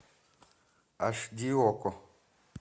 аш ди окко